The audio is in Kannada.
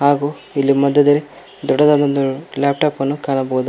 ಹಾಗೂ ಇಲ್ಲಿ ಮಧ್ಯದಲ್ಲಿ ದೊಡ್ಡದಾದ ಒಂದು ಲ್ಯಾಪ್ಟಾಪ್ ಅನ್ನು ಕಾಣಬಹುದಾ--